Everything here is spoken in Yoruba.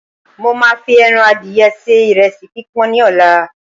mo ma fi eran adìye se iresi pipọn ni ọlá